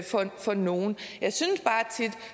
for for nogen